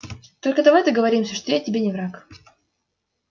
только давай договоримся что я тебе не враг